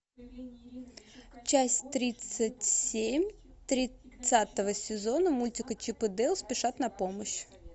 часть тридцать семь тридцатого сезона мультика чип и дейл спешат на помощь